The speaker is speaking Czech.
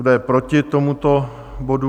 Kdo je proti tomuto bodu?